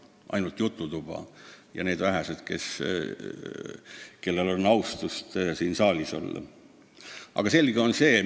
On ainult jututuba, mida peavad need vähesed, kellel on teema vastu nii palju austust, et nad on siin saalis.